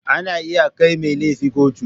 Ana iya kai mai laifi kotu.